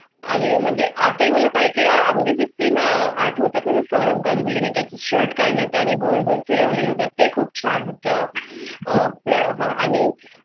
आणि म्हणजे आता मला काही म्हणजे cysteine आठवतात. मुळात गांगुली ने त्याचे shirt काढलं आणि गोल गोल फिरवले तर ते खूप छान होतं आहे आणि